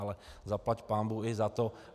Ale zaplať pánbůh i za to.